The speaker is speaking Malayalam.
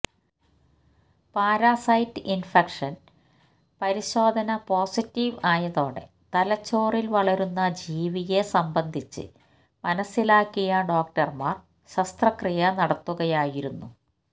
പാരസൈറ്റ് ഇന്ഫക്ഷന് പരിശോധന പൊസറ്റീവ് അയതോടെ തലച്ചോറില് വളരുന്ന ജീവിയെ സംബന്ധിച്ച് മനസിലാക്കിയ ഡോക്ടര്മാര് ശസ്ത്രക്രിയ നടത്തുകയായിരുന്നു